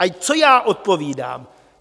A co já odpovídám?